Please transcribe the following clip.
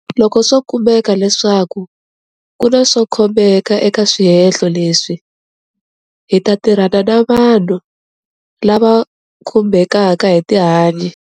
Loko swo kumeka leswaku ku na swo khomeka eka swihehlo leswi, hi ta tirhana na vanhu lava khumbekaka hi tihanyi.